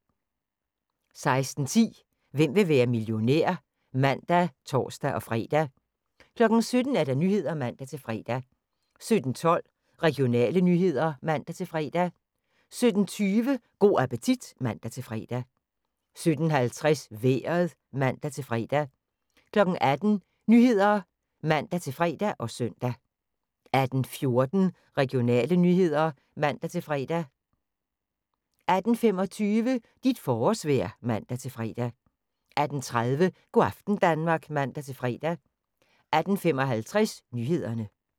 16:10: Hvem vil være millionær? (man og tor-fre) 17:00: Nyhederne (man-fre) 17:12: Regionale nyheder (man-fre) 17:20: Go' appetit (man-fre) 17:50: Vejret (man-fre) 18:00: Nyhederne (man-fre og søn) 18:14: Regionale nyheder (man-fre) 18:25: Dit forårsvejr (man-fre) 18:30: Go' aften Danmark (man-fre) 18:55: Nyhederne